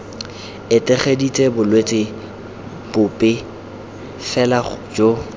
etegeditse bolwetse bope fela jo